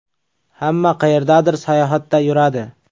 Hamma qayerdadir sayohatda yuradi.